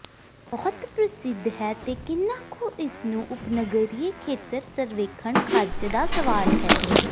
ਬਹੁਤ ਪ੍ਰਸਿੱਧ ਹੈ ਤੇ ਕਿੰਨਾ ਕੁ ਇਸ ਨੂੰ ਉਪਨਗਰੀਏ ਖੇਤਰ ਸਰਵੇਖਣ ਖ਼ਰਚ ਦਾ ਸਵਾਲ ਹੈ